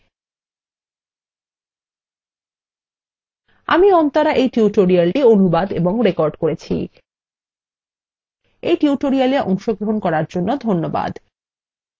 আমি অন্তরা এই টিউটোরিয়ালটি অনুবাদ এবং রেকর্ড করেছি